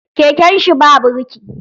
Keken shi ba birki.